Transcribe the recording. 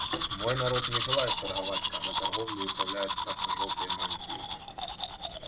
мой народ не желает торговать когда торговлей управляют красно-жёлтые мантии